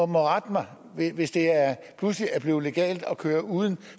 må rette mig hvis det pludselig er blevet legalt at køre uden